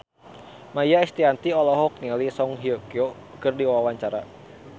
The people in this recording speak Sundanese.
Maia Estianty olohok ningali Song Hye Kyo keur diwawancara